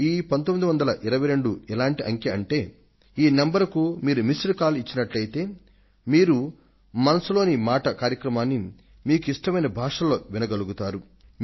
ఈ పంతొమ్మిది వందల ఇరవై రెండు ఎటువంటి సంఖ్య అంటే మీరు దీనికి ఒక మిస్ డ్ కాల్ ఇచ్చారంటే మీరు మనసులో మాట కార్యక్రమాన్ని మీకు ఇష్టమైన భాషలో వినగలుగుతారు